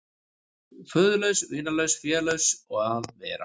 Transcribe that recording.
Föðurlaus, vinalaus, félaus að vera.